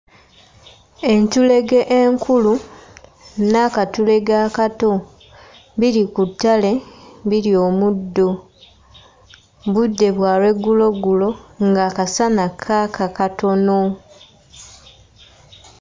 Entulege enkulu n'akatulege akato biri ku ttale birya omuddo; budde bwa lwegguloggulo ng'akasana kaaka katono.